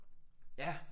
Ja